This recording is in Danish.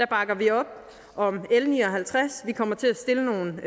bakker vi op om l ni og halvtreds vi kommer til at stille nogle